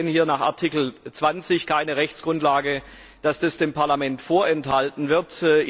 Wir sehen hier nach Artikel 20 keine Rechtsgrundlage, dass das dem Parlament vorenthalten wird.